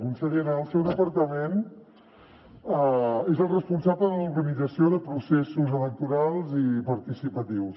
consellera el seu departament és el responsable de l’organització de processos electorals i participatius